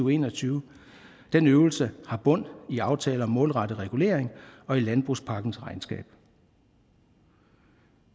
og en og tyve den øvelse har bund i aftale om målrettet regulering og i landbrugspakkens regnskab